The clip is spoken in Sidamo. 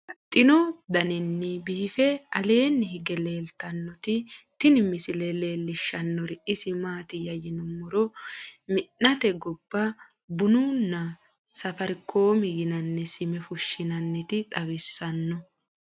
Babaxxittinno daninni biiffe aleenni hige leelittannotti tinni misile lelishshanori isi maattiya yinummoro mi'natte gobba bunna nna safarkomi yinnanni sime fushinnannitta xawissanno.